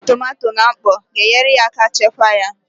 Itinye tomato na mkpọ ga-enyere aka chekwaa ya